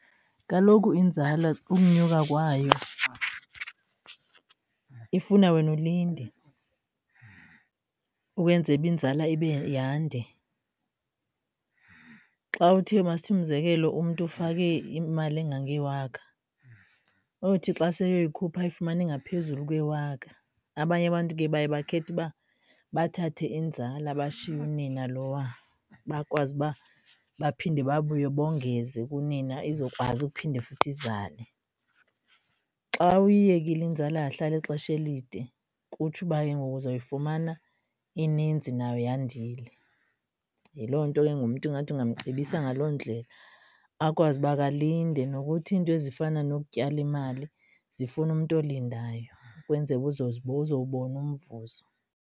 Kaloku inzala ukunyuka kwayo ifuna wena ulinde ukwenzela uba inzala yande. Xa uthe masithi umzekelo umntu ufake imali engangewaka, uyothi xa sele eyikhupha ayifumane ngaphezulu kwewaka. Abanye abantu ke baye bakhethe uba bathathe inzala bashiye unina lowa. Bakwazi uba baphinde babuye bongeze kunina izokwazi uphinde futhi izale. Xa uyiyekile inzala yahlala ixesha elide kutsho uba ke ngoku uzawuyifumana ininzi nayo yandile. Yiloo nto ke ngoku umntu ingathi ungamcebisa ngaloo ndlela, akwazi uba ke alinde nokuthi iinto ezifana nokutyala imali zifuna umntu olindayo ukwenzele uba uzowubona umvuzo.